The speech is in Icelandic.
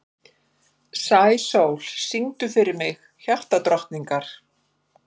Sæsól, syngdu fyrir mig „Hjartadrottningar“.